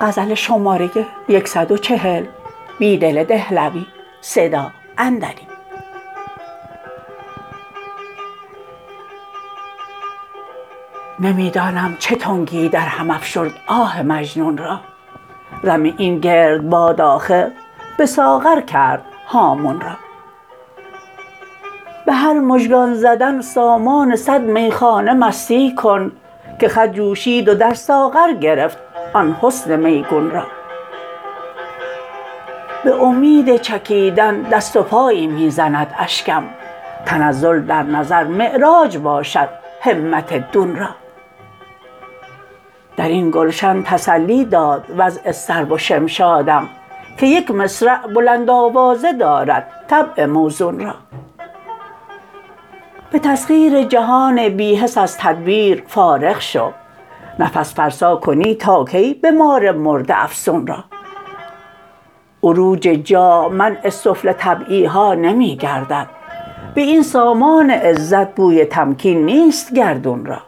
نمی دانم چه تنگی درهم افشرد آه مجنون را رم این گردباد آخر به ساغر کرد هامون را به هر مژگان زدن سامان صد میخانه مستی کن که خط جوشید و در ساغر گرفت آن حسن میگون را به امید چکیدن دست وپایی می زند اشکم تنزل در نظر معراج باشد همت دون را در این گلشن تسلی داد وضع سرو و شمشادم که یک مصرع بلند آوازه دارد طبع موزون را به تسخیر جهان بی حس از تدبیر فارغ شو نفس فرسا کنی تا کی به مار مرده افسون را عروج جاه منع سفله طبعی ها نمی گردد به این سامان عزت بوی تمکین نیست گردون را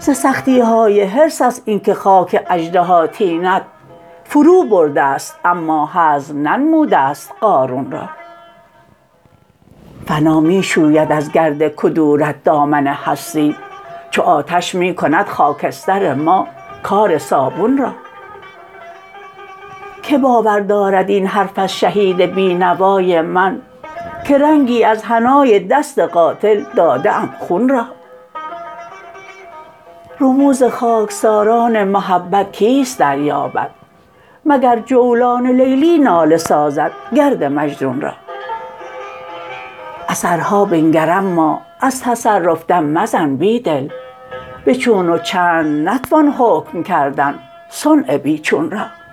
ز سختی های حرص است اینکه خاک اژدهاطینت فرو برده ست اما هضم ننموده ست قارون را فنا می شوید از گرد کدورت دامن هستی چو آتش می کند خاکستر ما کار صابون را که باور دارد این حرف از شهید بینوای من که رنگی از حنای دست قاتل داده ام خون را رموز خاکساران محبت کیست دریابد مگر جولان لیلی ناله سازد گرد مجنون را اثرها بنگر اما از تصرف دم مزن بیدل به چون وچند نتوان حکم کردن صنع بی چون را